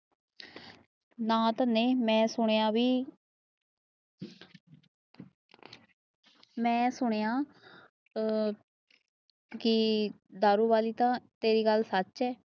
ਨਾ ਤੰਨੇ ਮੇਈ ਸੁਣਿਆ ਬਾਈ ਮੇਈ ਸੁਣਿਆ ਕਿ ਦਾਰੂ ਵਾਲੀ ਤੇਰੀ ਗਾਲ ਸੱਚ ਹੈ